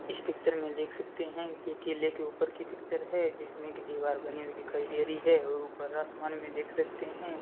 इस पिक्चर में देख सकते हैं कि ये किले के ऊपर की पिक्चर है जिसमें की दीवार बनी हुई दिखाई दे री है और ऊपर आसमान में देख सकते हैं।